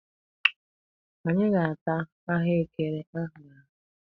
Anyị ga-ata ahụekere a hụrụ ahụ.